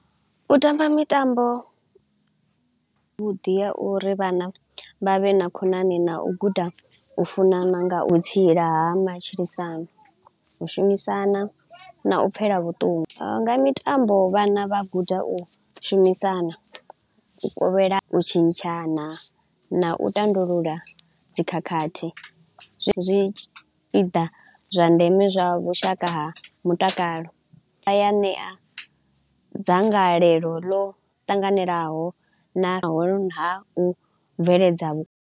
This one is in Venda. U tamba mitambo vhuḓi ha uri vhana vha vhe na khonani na u guda u funana nga u vhutsila ha matshilisano, u shumisana na u pfela vhuṱungu. Nga mitambo vhana vha guda u shumisana, u kovhela, u tshintshana na u tandulula dzikhakhathi. Zwi zwi zwa ndeme zwa vhushaka ha mutakalo, vha ya ṋea dzangalelo ḽo tanganelaho na hone ha u bveledza vhu.